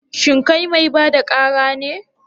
Shin kai mai ba da ƙara ne?